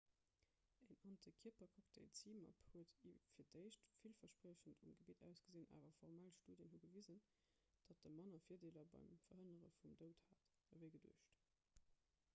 een antikierpercocktail zmapp huet fir d'éischt villverspriechend um gebitt ausgesinn awer formell studien hu gewisen datt e manner virdeeler beim verhënnere vum doud hat ewéi geduecht